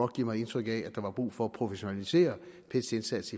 give mig indtryk af at der var brug for at professionalisere pet’s indsats